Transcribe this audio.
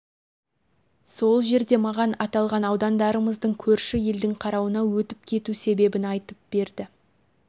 сол жерде маған аталған аудандарымыздың көрші елдің қарауына өтіп кету себебін айтып берді